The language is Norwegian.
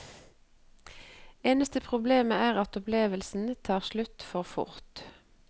Eneste problemet er at opplevelsen tar slutt for fort.